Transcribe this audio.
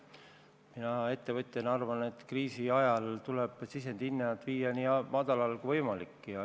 Mina ettevõtjana arvan, et kriisi ajal tuleb sisendi hinnad viia nii madalale kui võimalik.